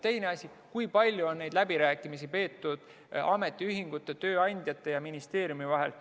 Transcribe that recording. Teine asi, kui palju on neid läbirääkimisi peetud ametiühingute, tööandjate ja ministeeriumi vahel.